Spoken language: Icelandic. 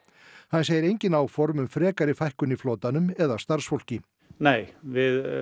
hann segir engin áform um frekari fækkun í flotanum eða starfsfólki nei við